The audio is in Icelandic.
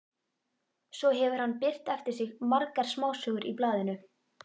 Svo hefur hann birt eftir sig margar smásögur í blaðinu.